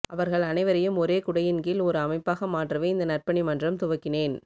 அவர்கள் அனைவரையும் ஒரே குடையின் கீழ் ஒரு அமைப்பாக மாற்றவே இந்த நற்பணி மன்றம் துவக்கினேன்